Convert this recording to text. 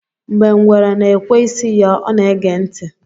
Mgbe ngwere na-ekwe isi ya, ọ na-ege ntị